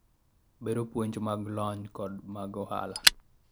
bero puonj mag lony kod mag ohala